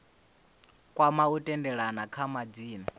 kwama u tendelana kha madzina